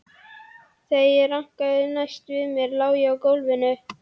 Þegar ég rankaði næst við mér lá ég á gólfinu.